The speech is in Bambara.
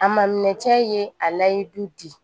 A ma minɛ cɛ ye a layi du di